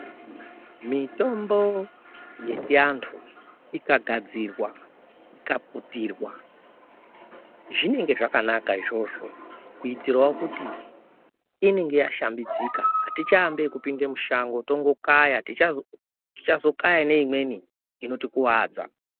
Mitombo yechiantu ikagadzirwa ikaputirwa zvinenge zvakanaka izvozvo kuitirawo kuti inenge yashambidzika atichaambi ekupinda mushango tongokaya tichazokaya neimweni inotikuwadza.